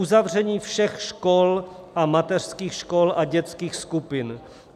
Uzavření všech škol a mateřských škol a dětských skupin.